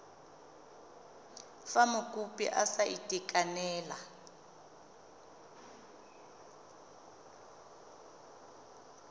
fa mokopi a sa itekanela